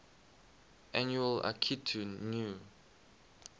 annual akitu new